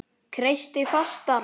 Kreisti fastar.